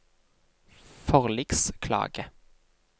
forliksklage